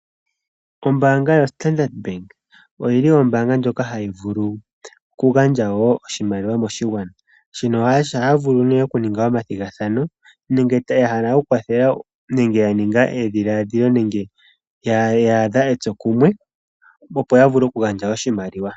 Ombaanga yoStandard Bank oyi li ombaanga ndjoka ha yi vulu oku gandja wo oshimaliwa moshigwana. Shino ohaya vulu nee oku ninga omathigathano nenge ya hala oku kwathela nenge ya ninga edhiladhilo , nenge ya adha etsokumwe opo ya vule oku gandja oshimaliwa.